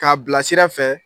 K'a bila sira fɛ